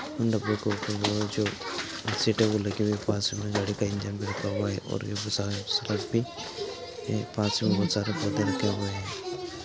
इन डिब्बों को जो वो जो सीटें वो लगी हुई हैं। पास में गाड़ी का इंजन भी रखा हुआ है और ए पास में बहुत सारे पौधे लगे हुए हैं।